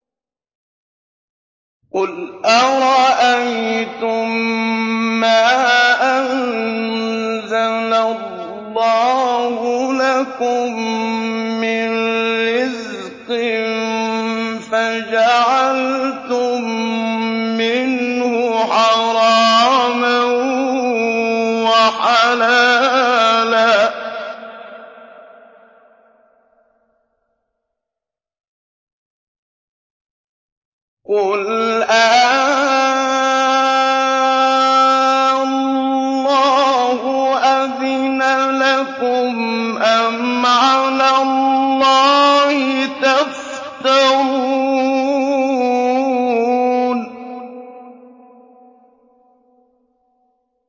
قُلْ أَرَأَيْتُم مَّا أَنزَلَ اللَّهُ لَكُم مِّن رِّزْقٍ فَجَعَلْتُم مِّنْهُ حَرَامًا وَحَلَالًا قُلْ آللَّهُ أَذِنَ لَكُمْ ۖ أَمْ عَلَى اللَّهِ تَفْتَرُونَ